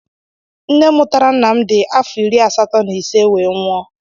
Nne mụtara ńnà m dị afọ iri asatọ na ise wee nwụọ.